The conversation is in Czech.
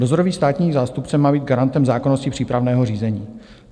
Dozorový státní zástupce má být garantem zákonnosti přípravného řízení.